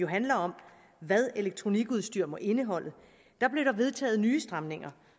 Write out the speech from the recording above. handler om hvad elektronikudstyr må indeholde blev der vedtaget nye stramninger